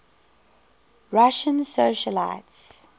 russian socialites